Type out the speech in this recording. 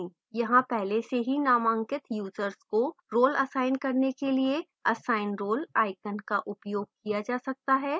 यहां पहले से ही नामांकित यूजर्स को role असाइन करने के लिए assign role icon का उपयोग किया जा सकता है